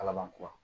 Ala man kuwa